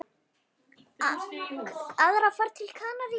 Aðra ferð til Kanarí?